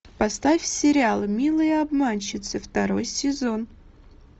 поставь сериал милые обманщицы второй сезон